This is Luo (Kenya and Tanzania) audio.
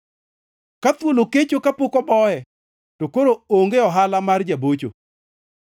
Ka thuol okecho kapok oboye, to koro onge ohala mar ja-bocho.